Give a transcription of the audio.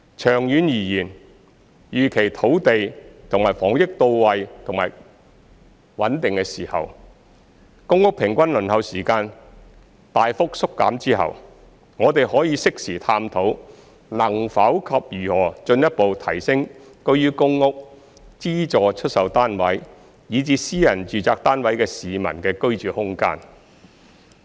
長遠而言，預期土地和房屋供應到位及穩定時，公屋平均輪候時間大幅縮減後，我們可適時探討能否及如何進一步提升居於公屋、資助出售單位以至私人住宅單位的市民的居住空間。